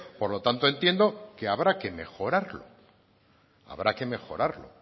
por lo tanto entiendo que no habrá que mejorarlo habrá que mejorarlo